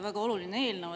Väga oluline eelnõu.